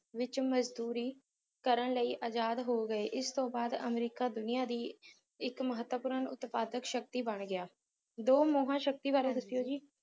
ਵਿੱਚ ਮਜ਼ਦੂਰੀ ਕਰਨ ਲਈ ਆਜ਼ਾਦ ਹੋ ਗਏ ਇਸ ਤੋਂ ਬਾਅਦ ਅਮਰੀਕਾ ਦੁਨੀਆਂ ਦੀ ਇੱਕ ਮਹੱਤਵਪੂਰਨ ਉਤਪਾਦਕ ਸ਼ਕਤੀ ਬਣ ਗਿਆ ਦੋ ਮਹਾ ਸ਼ਕਤੀਆਂ ਬਾਰੇ ਦਸਿਓ ਜੀ